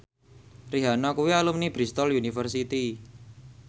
Rihanna kuwi alumni Bristol university